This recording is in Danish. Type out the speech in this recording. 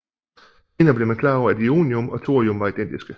Senere blev man klar over at ionium og thorium var identiske